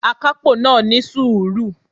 Akápò náà ní sùúrù